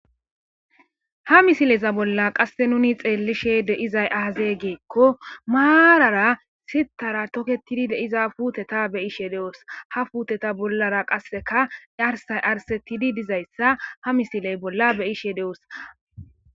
Ha misileza bolla qasse nuni xeellishe de7izay aazee giikko maarara sithara toketidi de7iza puuteta be7ishe de7os. Ha puuteta bollara qasseka arsay arsettidi dizayssa ha misiley bolla be7ishe de7os.